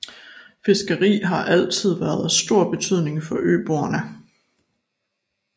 Fiskeri har altid været af stor betydning for øboerne